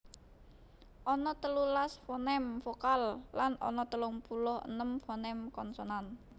Ana telulas foném vokal lan ana telung puluh enem foném konsonan